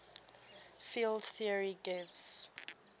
field theory gives